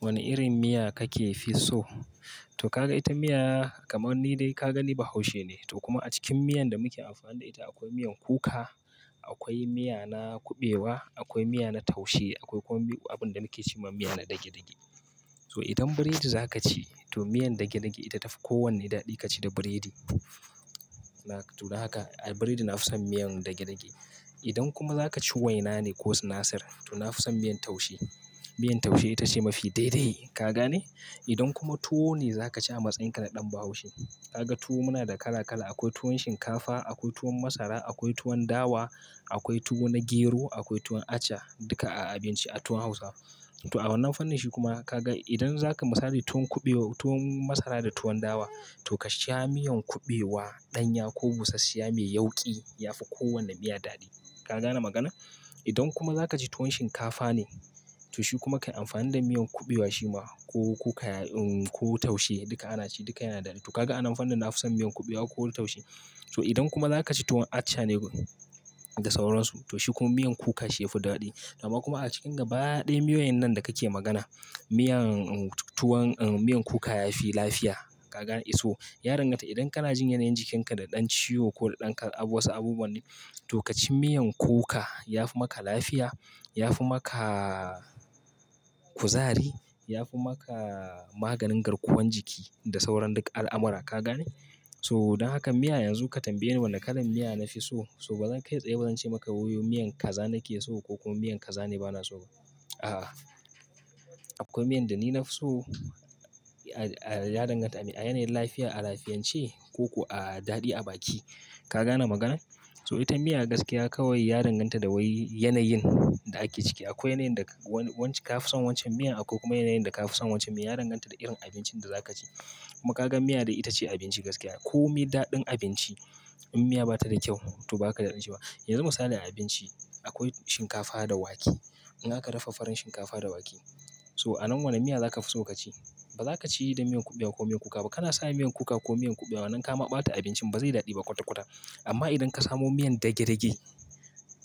Wane irin miya kake fi so? To ka ga ita miya kamar ni dai ka gani bahaushe ne. To kuma a cikin miyan da muke amfani da ita akwai miyan kuka, akwai miya na kuɓewa, akwai miya na taushe, akwai kuma abin da nake ce ma miya na dage-dage. So idan biredi za ka ci to miyan dage-dage ita tafi kowane daɗi ka ci da biredi. To don haka a biredi na fi son miyan dage-dage. Idan kuma za ka ci waina ne ko sinasar to na fi son miyan taushe. Miyan taushe ita ce mafi daidai, ka gane? Idan kuma tuwo ne za ka ci a matsayinka na ɗan Bahaushe, ka ga tuwo muna da kala kala. Akwai tuwon shinkafa, akwai tuwon masara, akwai tuwon dawa, akwai tuwo na gero, akwai tuwon aca. Duka a abinci a tuwon Hausawa. To a wannan fannin shi kuma ka ga idan za ka misali tuwon kuɓewa, tuwon masara da tuwon dawa to ka sha miyan kuɓewa, ɗanya ko busashshiya mai yauƙi yafi kowane miya daɗi. Ka gane magana? Idan kuma za ka ci tuwon shinkafa ne, to shi kuma ka yi amfani da miyan kuɓewa shi ma ko kuka, ko taushe duka ana ci duka yana daɗi. To ka ga a wannan fannin na fi son miyan kuɓewa ko taushe. To idan kuma za ka ci tuwon aca ne da sauran su, to shi kuma miyan kuka shi yafi daɗi. Dama kuma a cikin gaba ɗaya miyoyin nan da kake magana, miyan, tuwon, miyan kuka yafi lafiya. Ka gane iso? Ya danganta idan kana jin yanayin jikinka da ɗan ciwo ko da ɗan wasu abubuwa ne, to ka ci miyan kuka. Yafi maka lafiya, yafi maka kuzari, yafi maka maganin garkuwan jiki da sauran duka al'amura, ka gane? So don haka miya yanzu ka tambaye ni wane kalan miya na fi so. So ba zan kai tsaye ba zan ce maka miyan kaza nake so ko kuma miyan kaza ne bana so ba. A'a. Akwai miyan da ni na fi so, a, a, ya danganta a, a yanayin lafiya, a lafiyance ko a daɗi a baki. Ka gane magana? So ita miya gaskiya kawai ya danganta da wai yanayin da ake ciki. Akwai yanayin da wani, wanci ka fi son wancan miyan, akwai kuma yanayin da ka fi son wancan miyan. Ya danganta da irin abincin da za ka ci. Kuma ka ga miya dai ita ce abinci gaskiya. Ko mai daɗin abinci in miya ba ta da kyau to bazaji da ɗan ci ba. Yanzu misali a abinci, akwai shinkafa da wake. In aka dafa farin shinkafa da wake. So a nan wane miya za ka fi so ka ci? Ba za ka ci da miyan kuɓewa ko miyan kuka ba. Kana sanya miyan kuka ko miyan kuɓewa nan kama bata abincin ba zai yi daɗi ba kwata-kwata. Amma idan ka samu miyan dage-dage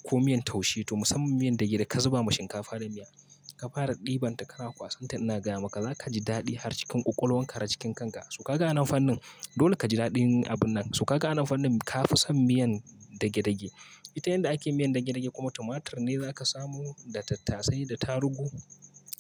ko miyan taushe to musamman miyan dage da ka zuba ma shinkafa da miya, ka fara ɗiban ta kana kwasan ta ina gaya maka za ka ji daɗi har cikin ƙoƙolawan ka har cikin kanka. To ka ga wannan fannin dole ka ji daɗin abun nan. To ka ga wannan fannin ka fi son miyan dage-dage. Ita yan da ake miyan dage-dage kuma tumatur ne za ka samu da tattasai da tarugu,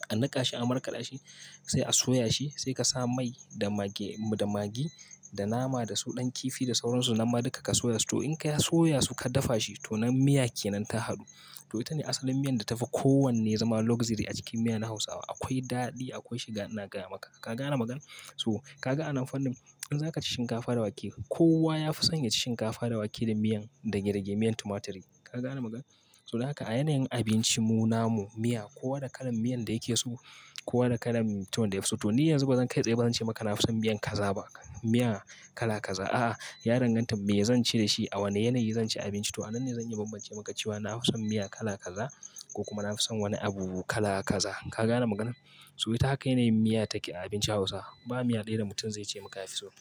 a niƙa shi, a markaɗa shi, sai a soya shi, sai ka sa mai da magi, da magi, da nama da soɗan kifi da sauran su. Nan ma duka ka soya su. To in ka soya su ka dafa shi to nan miya kenan ta haɗu. To ita ne asalin miyan da tafi kowanne zama luxury a cikin miyan Hausawa. Akwai daɗi akwai shi na gaya maka. Ka gane magana? So ka ga a wannan fannin in za ka ci shinkafa da wake, kowa ya fi son ya ci shinkafa da wake da miyan dage-dage, miyan tumaturi. Ka gane magana? So don haka a yanayin abinci mu namu miya kowa da kalan miyan da yake so, kowa da kalan tuwon da yafi so. To ni yanzu ba zan kai tsaye ba zan ce maka na fi son miyan kaza ba. Miya kala kaza. A'a, ya danganta me zan ci da shi, a wane yanayi zan ci abinci. To a nan ne zan iya bambance maka cewa na fi son miya kala kaza ko kuma na fi son wani abu kala kaza. Ka gane magana? So ita haka yanayin miya take a abincin Hausawa. Ba miya ɗaya da mutum zai ce maka ya fi so ba.